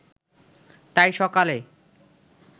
তাই সকালে